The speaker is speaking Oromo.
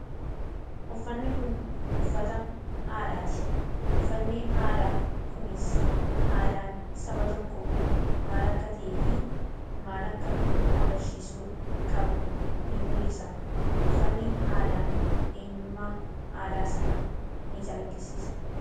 Uffanni kun uffata aadaati. Uffanni aadaa kunis aadaan saba tokkoo maal akka ta'eefi maal akka agarsiisuu qabu ni mul'isa. Uffanni aadaan eenyummaa aadaa sanaa nicalaqqisiisa.